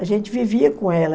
A gente vivia com ela.